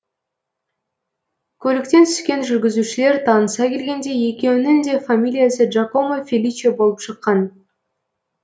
көліктен түскен жүргізушілер таныса келгенде екеуінің де фамилиясы джакомо феличе болып шыққан